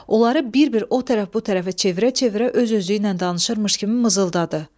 Onları bir-bir o tərəf-bu tərəfə çevirə-çevirə öz-özüylə danışırmış kimi mızıldadı.